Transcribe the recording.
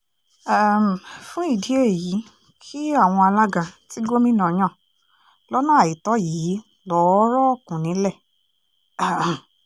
um fún ìdí èyí kí àwọn alága tí gómìnà yan lọ́nà àìtọ́ yìí lọ́ọ́ rọ́ọ̀kùn nílẹ̀ um